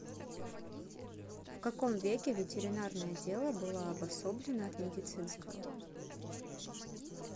в каком веке ветеринарное дело было обособлено от медицинского